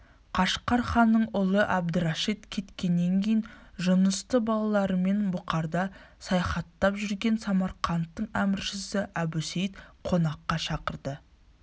қашқар ханының ұлы әбдірашит кеткеннен кейін жұнысты балаларымен бұқарда саяхаттап жүрген самарқанттың әміршісі әбусейіт қонаққа шақырды